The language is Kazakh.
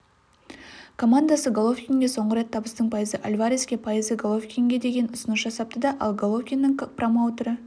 командасы головкинге соңғы рет табыстың пайызы альвареске пайызы головкинге деген ұсыныс жасапты ал головкиннің промоутері